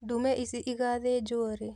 Ndume ici igathĩnjwo rĩ?